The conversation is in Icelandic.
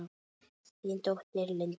Þín dóttir, Linda Rós.